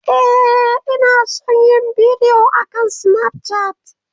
Ee, ina son yin bidiyo akan Snapchat.